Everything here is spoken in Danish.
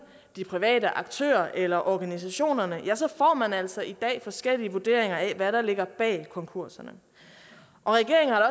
de private aktører eller organisationerne ja så man altså i dag forskellige vurderinger af hvad der ligger bag konkurserne regeringen har